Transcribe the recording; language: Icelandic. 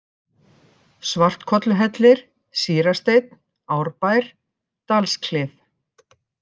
Svartkolluhellir, Sýrasteinn, Árbær, Dalsklif